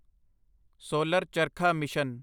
solar charkha mission